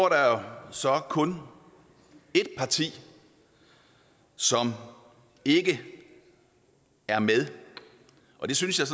der så kun et parti som ikke er med og det synes jeg